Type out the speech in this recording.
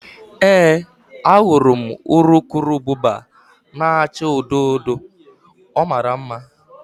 Ee, ahụrụ m urukurubụba na-acha odo odo, ọ mara mma